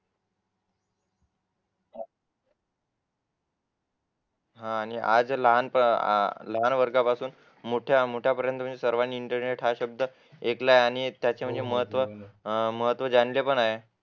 लहान वर्गापासून मोठ्या मोठ्या पर्यंत सर्वांनी इंटरनेट शब्द एकलाय आणि महत्व महत्त्व जाणले पण आहे